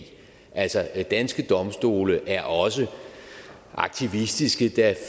altså danske domstole er også aktivistiske der